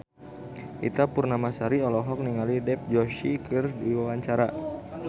Ita Purnamasari olohok ningali Dev Joshi keur diwawancara